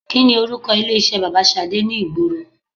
Kini orúkọ ilé iṣẹ́ bàbà Ṣadé ni ìgboro